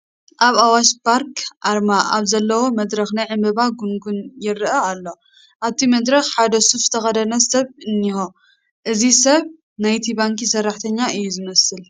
ናይ ኣዋሽ ባርክ ኣርማ ኣብ ዘለዎ መድረኽ ናይ ዕምባባ ጉንጉን ይርአ ኣሎ፡፡ ኣብቲ መድረኽ ሓደ ሱፍ ዝተኸደነ ሰብ እኒሀ፡፡ እዚ ሰብ ናይቲ ባንኪ ሰራሕተኛ እዩ ዝመስል፡፡